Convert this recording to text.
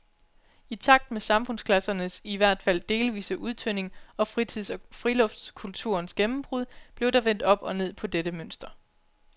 I takt med samfundsklassernes i hvert fald delvise udtynding og fritids- og friluftskulturens gennembrud blev der vendt op og ned på dette mønster.